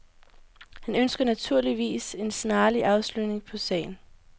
Han ønsker naturligvis en snarlig afslutning af sagen.